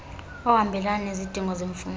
ohambelana nezidingo zemfundo